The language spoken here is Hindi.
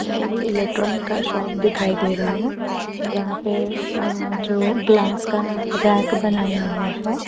एक इलेक्ट्रॉनिक का शॉप दिखाई दे रहा है जहां पे अ जो ग्लास का रैक बनाया हुआ है।